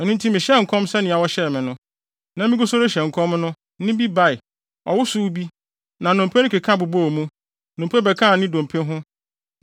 Ɛno nti mehyɛɛ nkɔm sɛnea wɔhyɛɛ me no. Na migu so rehyɛ nkɔm no, nne bi bae, ɔwosow bi, na nnompe no keka bobɔɔ mu, dompe bɛkaa ne dompe ho.